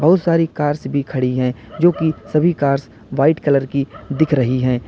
वो सारी कार्स भी खड़ी हैं जो की सभी कार्स व्हाइट कलर की दिख रही हैं।